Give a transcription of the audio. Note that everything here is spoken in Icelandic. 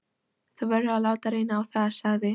Þú verður að láta reyna á það, sagði